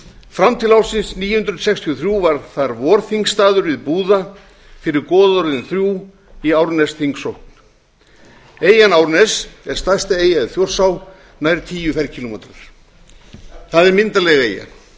fram til ársins níu hundruð sextíu og þrjú var þar vorþingstaður við búða fyrir goðorðin þrjú í árnesþingsókn eyjan árnes er stærsta eyja í þjórsá nær tíu kílómetra tvö það er myndarleg